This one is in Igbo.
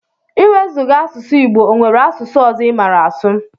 Iwezuga asụsụ igbo onwere asụsụ ọzọ imara asụ?